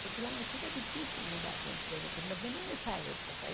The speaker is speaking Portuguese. Porque lá no Chile é difícil mudar de emprego, pelo menos nessa época. Eh